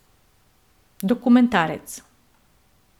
Dokumentarec.